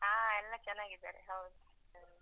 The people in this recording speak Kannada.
ಅಹ್ ಎಲ್ಲ ಚೆನ್ನಾಗಿದ್ದಾರೆ ಹೌದು.